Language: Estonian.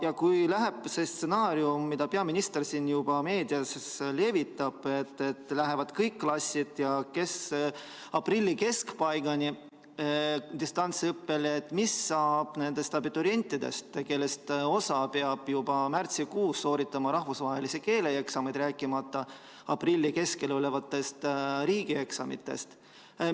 Ja kui läheb käiku see stsenaarium, mida peaminister juba meedias levitab, et kõik klassid lähevad aprilli keskpaigani distantsõppele, siis mis saab nendest abiturientidest, kes peavad juba märtsikuus sooritama rahvusvahelise keeleeksami, rääkimata aprilli keskel toimuvatest riigieksamitest?